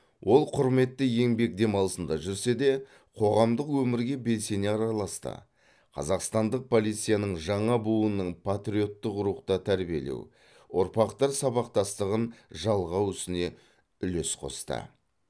ол құрметті еңбек демалысында жүрсе де қоғамдық өмірге белсене араласты қазақстандық полицияның жаңа буынын патриоттық рухта тәрбиелеу ұрпақтар сабақтастығын жалғау ісіне үлес қосты